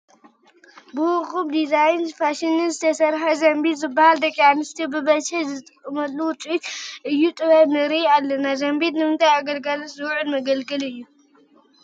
ብውቁብ ዲዛንን ፋሽንን ዝተሰርሐ ዘንቢል ዝብሃል ደቂ ኣንስትዮ ብብዝሒ ዝጥቀማሉ ውፅኢት እደ ጥበብ ንርኢ ኣለና፡፡ ዘንቢል ንምንታይ ኣገልግሎት ዝውዕል መገልገሊ እዩ?